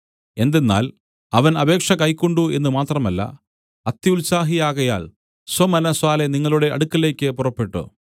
എന്തെന്നാൽ അവൻ അപേക്ഷ കൈക്കൊണ്ടു എന്ന് മാത്രമല്ല അത്യുത്സാഹിയാകയാൽ സ്വമനസ്സാലെ നിങ്ങളുടെ അടുക്കലേക്ക് പുറപ്പെട്ടു